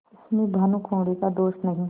इसमें भानुकुँवरि का दोष नहीं